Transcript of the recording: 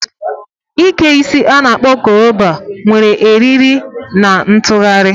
Ike isi a-na akpo koroba nwere eriri na ntụgharị.